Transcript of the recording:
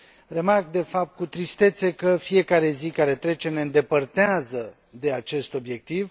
Remarc, de fapt, cu tristețe că fiecare zi care trece ne îndepărtează de acest obiectiv